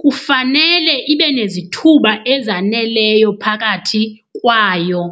kufanele ibe nezithuba ezaneleyo phakathi kwayo.